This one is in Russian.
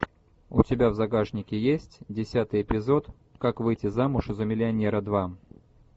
у тебя в загашнике есть десятый эпизод как выйти замуж за миллионера два